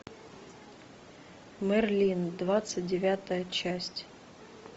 мерлин двадцать девятая часть